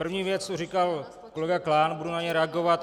První věc tu říkal kolega Klán, budu na něj reagovat.